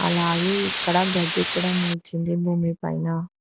అలాగే ఇక్కడ గడ్డి కూడ మొల్చింది భూమి పైన.